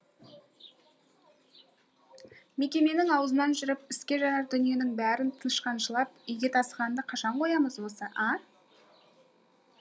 мекеменің аузынан жырып іске жарар дүниенің бәрін тышқаншылап үйге тасығанды қашан қоямыз осы а